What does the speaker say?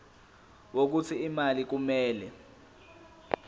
wokuthi imali kumele